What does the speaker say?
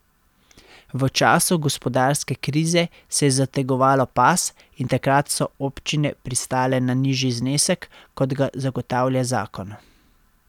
V času gospodarske krize se je zategovalo pas in takrat so občine pristale na nižji znesek, kot ga zagotavlja zakon.